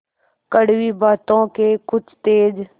कड़वी बातों के कुछ तेज